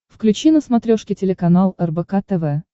включи на смотрешке телеканал рбк тв